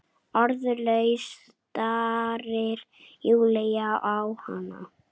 Orðlaus starir Júlía á hana.